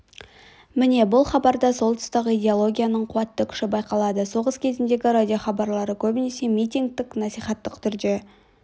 міне бұл хабарда сол тұстағы идеологияның қуатты күші байқалады соғыс кезіндегі радиохабарлары көбінесе митингтік насихаттық түрде